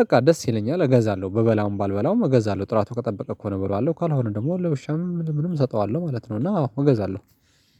በቃ ደስ ይለኛል እገዛለሁ። በበላውም ባልበላውም እገዛለሁ ጥራቱ ከጠበቀ ከሆነ እበለዋለው ካልሆነ ደግሞ ለውሻም ምንም እሰጠዋለሁ ማለት ነው። እና አዎ እገዛለሁ